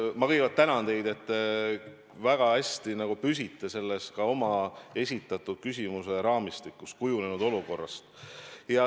Ma kõigepealt tänan teid, et te väga hästi nagu püsite selles oma esitatud küsimuse raamistikus: kujunenud olukorrast.